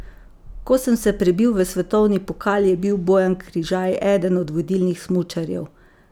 Ko sem se prebil v svetovni pokal, je bil Bojan Križaj eden od vodilnih smučarjev.